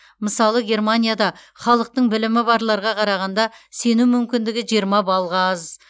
мысалы германияда халықтың білімі барларға қарағанда сену мүмкіндігі жиырма баллға аз